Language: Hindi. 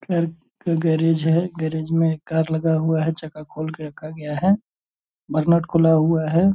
कार का गेरेज है गेरेज में एक कार लगा हुआ है चक्का खोल के रखा गया है बरनोट खुला हुआ है ।